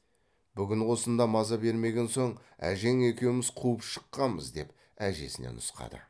бүгін осында маза бермеген соң әжең екеуміз қуып шыққамыз деп әжесіне нұсқады